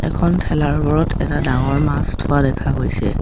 এখন ঠেলাৰ ওপৰত এটা ডাঙৰ মাছ থোৱা দেখা গৈছে।